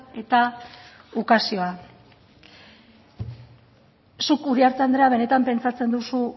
eta ukazioa zuk uriarte andrea benetan pentsatzen duzu